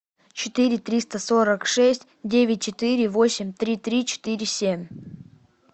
четыре триста сорок шесть девять четыре восемь три три четыре семь